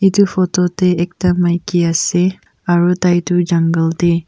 etu photo teh ekta maiki ase aru tai tu Jungle teh--